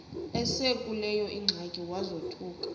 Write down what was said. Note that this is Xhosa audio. esekuleyo ingxaki wazothuka